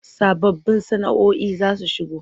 Sababbun sana”oi za su shigo.